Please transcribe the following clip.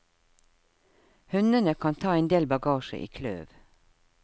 Hundene kan ta endel bagasje i kløv.